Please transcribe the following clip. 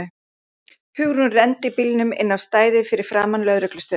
Hugrún renndi bílnum inn á stæðið fyrir framan lögreglustöðina.